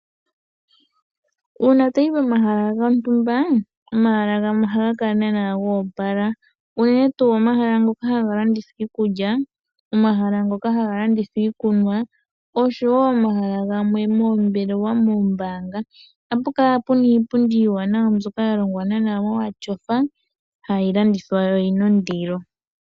Uuna toyi pomahaka gontumba, omahala gamwe ohaga kala naana ga opala, unene tuu omahala ngoka haga landitha iikulya, omahala ngoka haga landitha Iikunwa oshowo omahala galwe moombelewa mOombaanga, oha pukala puna iipundi iiwanawa mbyoka yalongwa naana momaSofa hayi landithwa noyina ondilo.